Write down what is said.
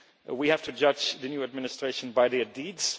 we have to judge the new administration by their deeds.